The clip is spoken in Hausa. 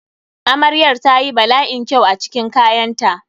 Amrayar ta yi bala'in kyau a cikin kayanta.